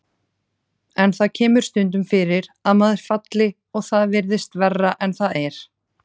En það kemur stundum fyrir að maður falli og það virðist verra en það er.